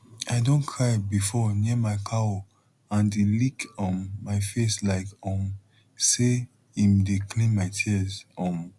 i don cry before near my cow and e lick um my face like um say em dey clean my tears um